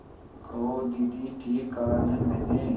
कहो दीदी ठीक कहा न मैंने